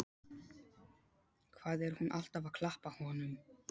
Hvað er hún alltaf að klappa honum?